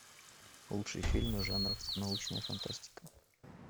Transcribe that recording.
лучшие фильмы жанров научная фантастика